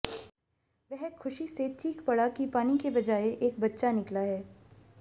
वह ख़ुशी से चीख़ पड़ा कि पानी के बजाए एक बच्चा निकला है